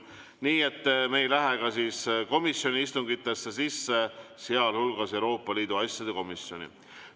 Nii et me ei lähe ka komisjoni istungitesse sisse, sealhulgas Euroopa Liidu asjade komisjoni.